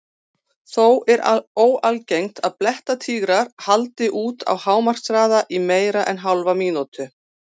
Þó er óalgengt að blettatígrar haldi út á hámarkshraða í meira en hálfa mínútu.